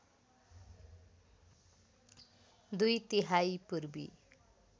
दुई तिहाई पूर्वी